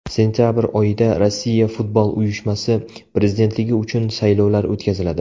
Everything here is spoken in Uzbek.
Sentabr oyida Rossiya Futbol Uyushmasi prezidentligi uchun saylovlar o‘tkaziladi.